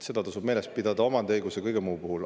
Seda tasub meeles pidada nii omandiõiguse kui ka kõige muu puhul.